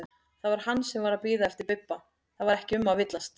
Það var hann sem var að bíða eftir Bibba, það var ekki um að villast!